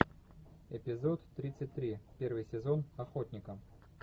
эпизод тридцать три первый сезон охотника